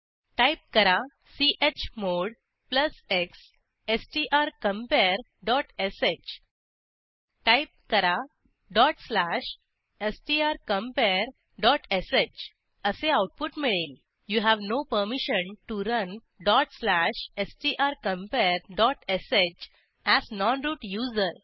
type करा chmod x strcompareश type करा strcomparesh असे आऊटपुट मिळेल you have no permission T O run dot slash strcompare dot sh as non root user